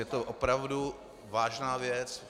Je to opravdu vážná věc.